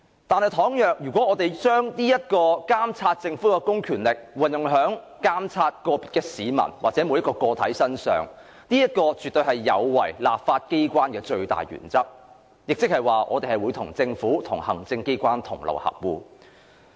但是，倘若我們把對政府公權力的監察應用在個別市民身上，則絕對有違立法機關的最大原則，即我們與政府或行政機關同流合污。